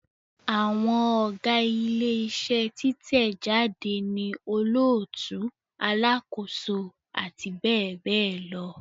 Àwọn Ọ̀gá ilé iṣẹ́ títẹ̀ jáde ni olóòtú, alákòóso àti bẹ́ẹ̀ bẹ́ẹ̀ lọ